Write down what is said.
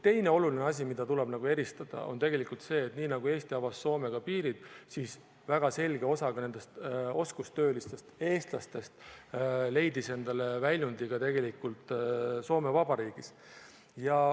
Teine oluline asi, mida tuleb eristada, on see, et niipea kui Eesti avas Soomega piirid, siis väga selge osa oskustöölistest eestlastest leidis endale väljundi Soome Vabariigis.